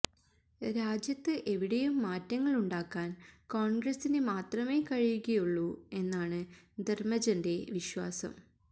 രാജ്യത്ത് എവിടെയും മാറ്റങ്ങളുണ്ടാക്കാൻ കോൺഗ്രസിന് മാത്രമേ കഴിയുകയുള്ളൂ എന്നാണ് ധർമജന്റെ വിശ്വാസം